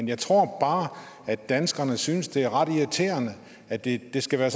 jeg tror bare at danskerne synes det er ret irriterende at det skal være